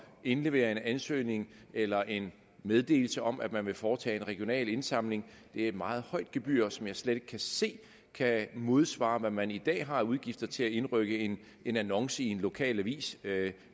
indlevere en ansøgning eller en meddelelse om at man vil foretage en regional indsamling det er et meget højt gebyr som jeg slet ikke kan se kan modsvare hvad man i dag har af udgifter til at indrykke en en annonce i en lokalavis